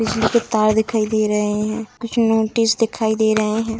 बिजली के तार दिखाई दे रहे हैं कुछ नोटिस दिखाई दे रहे हैं।